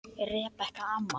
Rebekka amma.